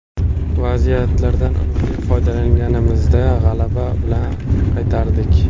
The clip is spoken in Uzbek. Vaziyatlardan unumli foydalanganimizda g‘alaba bilan qaytardik.